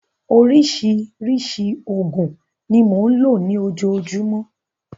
Oríṣiríṣi òògùn ni mò ń lò ní ojoojúmọ́.